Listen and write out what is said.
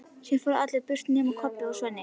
Síðan fóru allir burt nema Kobbi og Svenni.